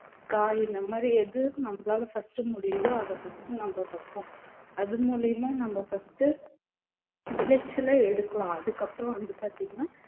காய் இந்த மாதிரி எது நம்மளால first முடியுதோ அதை first நம்ம வெப்போம் அது மூலியமா நம்ம first விளைச்சலை எடுக்கலாம் அதுக்கப்புறம் வந்து பார்த்தீங்கன்னா